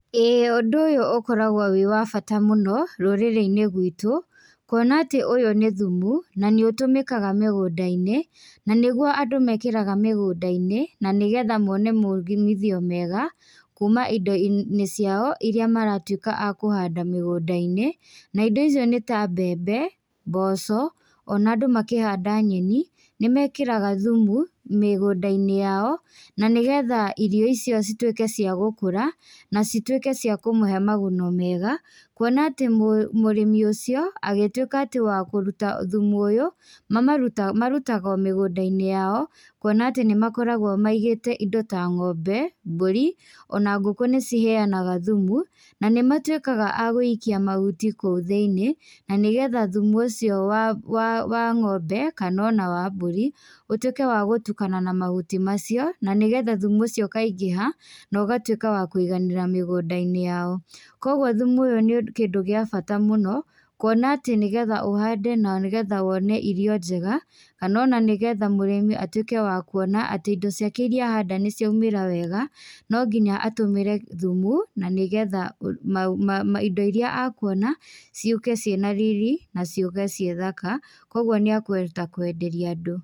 Ĩĩ ũndũ ũyũ ũkoragwo wĩ wa bata mũno rũrĩrĩ-inĩ gwĩtũ, kuona atĩ ũyũ nĩ thumu na nĩ ũtũmĩkaga mĩgũnda-inĩ, na nĩgũo andũ mekĩraga mĩgũnda-inĩ na nĩgetha mone maumithio mega kuma indo-inĩ ciao irĩa maratuĩka a kũhanda mĩgunda-inĩ. Na indo icio nĩ ta; mbembe, mboco, o na andũ makĩhanda nyeni nĩ mekĩraga thumu mĩgũnda-inĩ yao, na nĩgetha irio icio cituĩke cia gũkũra na cituĩke cia kũmũhe maguno mega, kuona atĩ mũrĩmi ũcio agĩtuĩka atĩ wa kũruta thumu ũyũ, mamarutaga marutaga o migũnda-inĩ ya o, kuona atĩ nĩmakoragwo amigĩte indo ta ng'ombe, mbũri, ona ngũkũ nĩciheyanaga thumu, na nĩmatuĩkaga agũikia mahuti kũu thĩiniĩ, na nĩgetha thumu ũcio wa ng'ombe kana ona wa mbũrĩ ũtuĩke wa gũtukana na mahuti macio na nĩgetha thumu ũcio ũkaingĩha na ũgatuĩka wa kũiganĩra mĩgunda-inĩ yao. Koguo thumu ũyũ nĩ kĩndũ gĩa bata mũno kuona atĩ nĩgetha ũhande na nĩgetha wone irio njega, kana o na nĩgetha mũrĩmi atuĩke wa kuona atĩ indo ciake irĩa ahanda nĩ ciaumĩra wega, no nginya atũmĩre thumu na nĩgetha indo irĩa ekuona ciũke cĩ na riri, na ciũke ciĩthaka, koguo nĩ ekuhota kwenderia andũ.